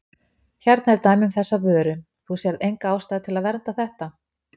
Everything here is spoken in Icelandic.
Hérna er dæmi um þessa vöru, þú sérð enga ástæðu til að vernda þetta?